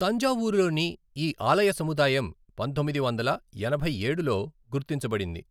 తంజావూరులోని ఈ ఆలయ సముదాయం పంతొమ్మిది వందల ఎనభై ఏడులో గుర్తించబడింది.